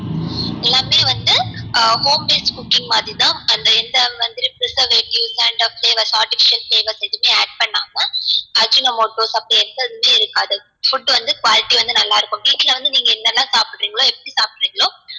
ஆஹ் home made cooking மாதிரி தான் அதுல எந்த மாதிரி preservative and flavor artificial flavour எதுமே add பண்ணாம ajinomoto அப்டி எந்த இதுமே இருக்காது food வந்து quality வந்து நல்லார்க்கும் வீட்டுல வந்து நீங்க என்னலாம் சாப்புட்ரிங்களோ எப்டி சாப்புட்ரிங்களோ